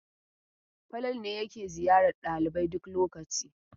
Falalu ne yake ziyarar ɗalibai duk lokaci?